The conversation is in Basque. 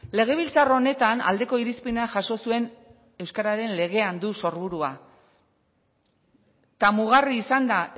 legebiltzar honetan aldeko irizpena jaso zuen euskararen legean du sorburua eta mugarri izan da